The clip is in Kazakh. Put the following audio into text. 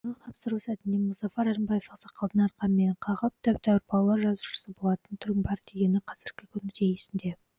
тапсыру сәтінде мұзафар әлімбаев ақсақалдың арқамнан қағып тәп тәуір балалар жазушысы болатын түрің бар дегені қазіргі күні де есімде